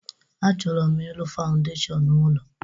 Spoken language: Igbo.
Achọrọ m ịrụ fawndeshọn ụlọ